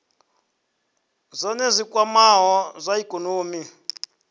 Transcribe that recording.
zwohe zwi kwamaho zwa ikonomi